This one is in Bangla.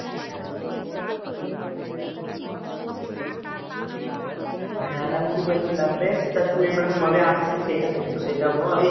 হ্যাঁ আর আমি কি বলছিলাম বে? তা তুই বেটা কবে আসছিস সেটা তো সেটা বল?